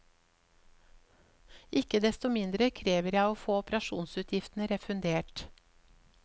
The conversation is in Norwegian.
Ikke desto mindre krever jeg å få operasjonsutgiftene refundert.